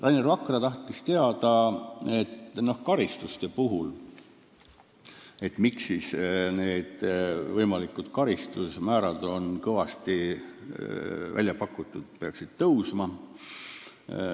Rainer Vakra tahtis teada, miks võimalikud karistusmäärad peaksid kõvasti tõusma.